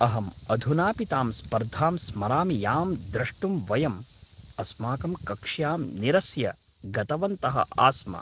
अहम् अधुनापि तां स्पर्धां स्मरामि यां दृष्टुं वयम् अस्माकं कक्ष्यां निरस्य गतवन्तः आस्म।